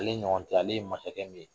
Jeli ɲɔgɔn tɛ ale ye masakɛ min ye